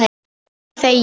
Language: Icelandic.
Ég þegi.